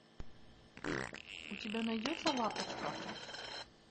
у тебя найдется лапочка